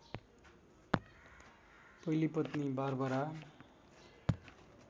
पहिली पत्नी बारबरा